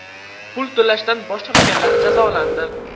Pul to‘lashdan bosh tortganlar jazolandi.